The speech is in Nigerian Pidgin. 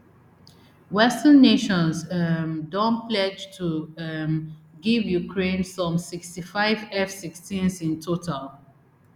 western nations um don pledge to um give ukraine some sixty-five fsixteens in total